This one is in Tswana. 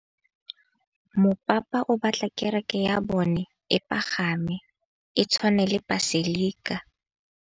Mopapa o batla kereke ya bone e pagame, e tshwane le paselika.